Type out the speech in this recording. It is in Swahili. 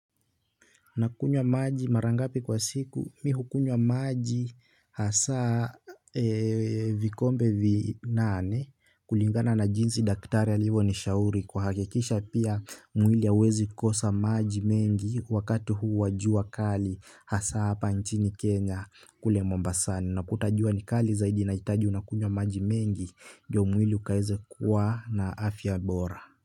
Nakunywa maji mara ngapi kwa siku mimi hukunywa maji hasa vikombe vinane kulingana na jinsi daktari alivyo nishauri kuhakikisha pia mwili hauwezi kosa maji mengi wakati huu wa jua kali hasa hapa nchini Kenya kule Mombasani unakuta jua ni kali zaidi inahitaji unakunywa maji mengi ndio mwili ukaweze kuwa na afya bora.